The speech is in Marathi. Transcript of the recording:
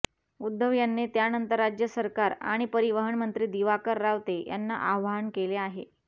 उद्धव यांनी त्यानंतर राज्य सरकार आणि परिवहन मंत्री दिवाकर रावते यांना आवाहन केले आहे